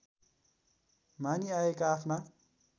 मानिआएका आफ्ना